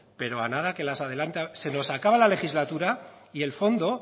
pero a nada que las adelante se nos acaba la legislatura y el fondo